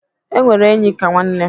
E nwere enyi ka nwanne.